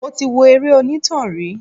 Mo ti wo eré onítàn rí.